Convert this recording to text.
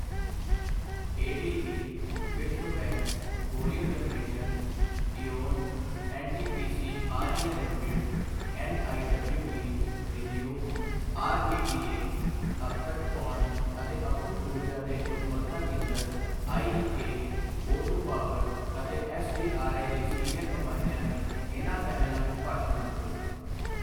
ADB, ਵਿਸ਼ਵ bank, Corio generation, EON, NTPC REL limited, NIWE, ReNew, REDA, ਅਪਤਟ ਪੌਣ ਅਤੇ ਅਖੁੱਟ ਊਰਜਾ ਤੇ ਉੱਤਮਤਾ ਕੇਂਦਰ, ਆਈਈਏ, ਓ ਟੂ ਪਾਵਰ ਅਤੇ ਐੱਸਜੀਆਰਈ ਦੇ ਸੀਨੀਅਰ ਨੁਮਾਇੰਦਿਆਂ ਨੇ ਇਨ੍ਹਾਂ ਪੈਨਲਾਂ ਵਿੱਚ ਭਾਸ਼ਣ ਦਿੱਤੇ।